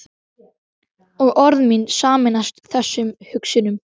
Og orð mín sameinast þessum hugsunum.